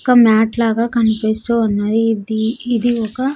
ఒక్క మాట్ లాగా కనిపిస్తూ ఉన్నది. ఇది ఇది ఒక్క --